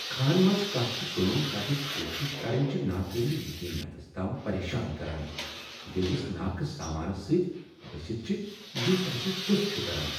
کھہہن منٛز کانٛہہ تہ کٲم کرنٕچ کوشش کرٕنۍ چھ ناقابل یقین حدس تام پریشان کران ییٚلہ أسۍ ناقص سامانس سۭتۍ پھنستھ چھ یُس اسہ سُست چھ کران۔